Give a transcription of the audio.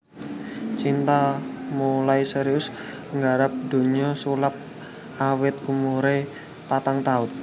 Cinta mulai serius nggarap donya sulap awit umuré patang taun